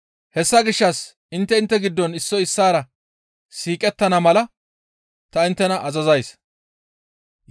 Hessa gishshas intte intte giddon issoy issaara siiqettana mala ta inttena azazays.